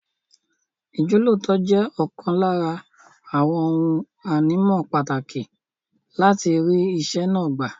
Ìjọ́lóòótọ́ jẹ́ ọ̀kan lára àwọn ohun ànímọ́ pàtàkì láti rí iṣẹ́ náà gbà.